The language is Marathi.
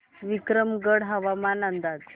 विक्रमगड हवामान अंदाज